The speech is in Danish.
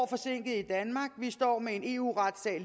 forsinket i danmark vi står med en eu retssag